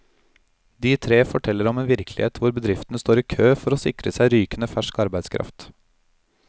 De tre forteller om en virkelighet hvor bedriftene står i kø for å sikre seg rykende fersk arbeidskraft.